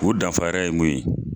O danfara ye mun ye